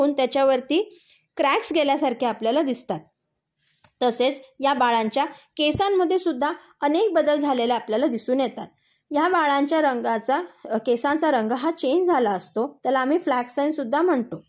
होऊन त्याच्यावरती क्र्यक्स गेल्यासारखे आपल्याला दिसतात. तसेच या बाळांच्या केसांमध्ये सुद्धा अनेक बदल झालेले आपल्याला दिसून येतात. ह्या बाळांच्या रंगाचा केसांचा रंग हा चेंज झाला असतो. त्याला आम्ही फ्ल्यक्स सेन्स सुद्धा म्हणतो.